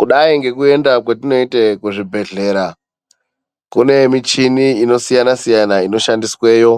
Kudai ngekuenda kwetinoita kuzvibhedhlera kune michhini ino siyana-siyana inoshandisweyo.